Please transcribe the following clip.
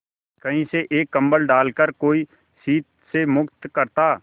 कहीं से एक कंबल डालकर कोई शीत से मुक्त करता